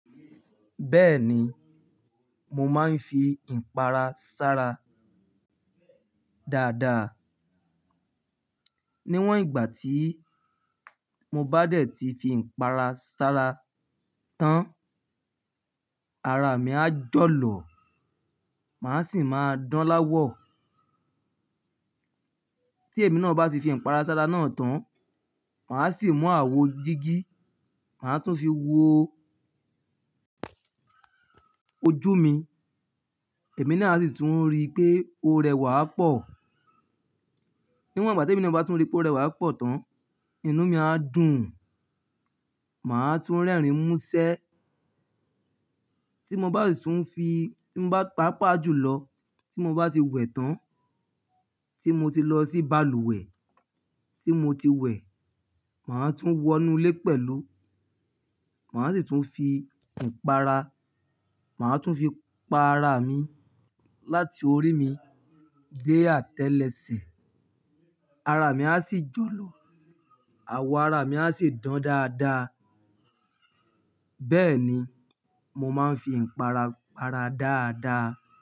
Bẹ́ẹ̀ni, mo máa ń fi ìpara ṣ'ara dáadáa. Níwọ̀n ìgbà tí mo bá dẹ̀ tí fi ìpara ṣ'ára tán, ara mi á jọ̀lọ̀. Màá sì máa dán l'áwọ̀. Tí èmi náà bá ti fi ìpara ṣ'ára náà tán, màá sì mú àwo jígí, màá tún fi wo ojú mi. Èmi náà a sì tún rí pé o rẹwà pọ̀. Níwọ̀n ìgbà tí èmi náà bá tún rí pé o rẹwà pọ̀ tán, inú mi á dùn. Màá tún rẹ́rìn mú ṣẹ́. Tí mo bá sì tún fi-- tí mo bá pàápàá jùlọ, tí mo bá ti wẹ̀ tán, tí mo ti lọ sí balùwẹ̀, tí mo ti wẹ̀, màá tún wọnú ilé pẹ̀lú. Màá sì tún fi ìpara, màá tún fi pa ara mi láti orí mi dé atelẹsẹ̀. Ara mi á sì jọ̀lọ̀. Àwo ara mi á sì dán dáadáa. Bẹ́ẹ̀ ni, mo máa ń fi ìpara para dáadáa.